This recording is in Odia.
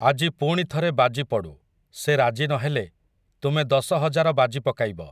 ଆଜି ପୁଣି ଥରେ ବାଜି ପଡୁ, ସେ ରାଜି ନହେଲେ, ତୁମେ ଦଶ ହଜାର ବାଜି ପକାଇବ ।